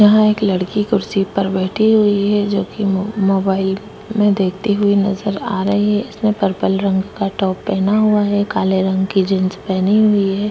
यहां एक लड़की कुर्सी पर बैठी हुई है जो कि मो मोबाइल में देखती हुई नजर आ रही है इसने पर्पल रंग का टॉप पहना हुआ है काले रंग की जीन्स पहनी हुई है।